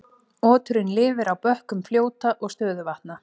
Oturinn lifir á bökkum fljóta og stöðuvatna.